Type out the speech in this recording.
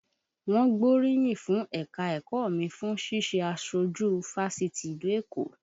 Wọ́n gbóríyìn fún ẹ̀ka-ẹ̀kọ́ mi fún ṣíṣe aṣojú fásitì ìlú Èkó